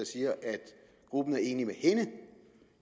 siger at gruppen er enig med hende